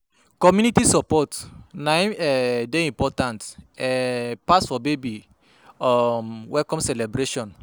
Community support na im um dey important um pass for baby um welcome celebration.